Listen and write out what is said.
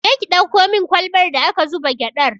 Je ki ɗauko min kwalbar da aka zuba gyaɗar!